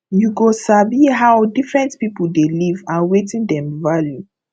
you go sabi how different people dey live and wetin dem value